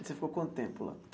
E você ficou quanto tempo lá?